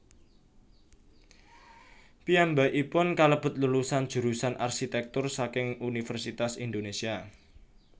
Piyambakipun kalebet lulusan jurusan arsitèktur saking Universitas Indonésia